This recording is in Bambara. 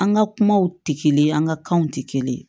An ka kumaw tɛ kelen ye an ka kanw tɛ kelen ye